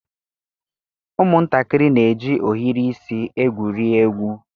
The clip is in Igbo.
Ụmụntakịrị na-eji ohiri isi egwuri egwu.